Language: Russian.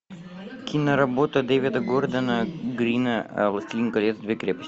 киноработа дэвида гордона грина властелин колец две крепости